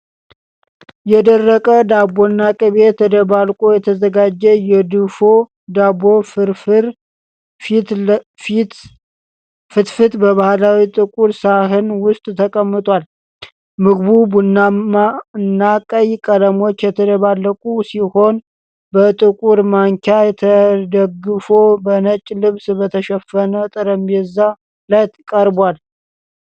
የደረቀ ዳቦና ቅቤ ተደባልቆ የተዘጋጀ የድፎ ዳቦ ፍርፋሪ (ፈትፈት) በባህላዊ ጥቁር ሰሃን ውስጥ ተቀምጧል። ምግቡ ቡናማና ቀይ ቀለሞች የተደባለቁ ሲሆን፣ በጥቁር ማንኪያ ተደግፎ በነጭ ልብስ በተሸፈነ ጠረጴዛ ላይ ቀርቧል።